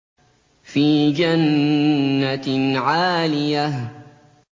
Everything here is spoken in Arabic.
فِي جَنَّةٍ عَالِيَةٍ